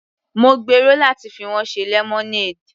Mo gbèrò láti fi wọ́n ṣe lemonade.